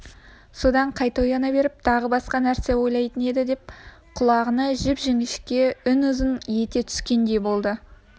содан қайта ояна беріп тағы басқа нәрсе ойлайын деп еді құлағына жіп-жіңішке үн ызың ете түскендей болды